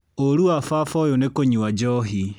Ũru wa baba ũyũ nĩ kũnywa njohi.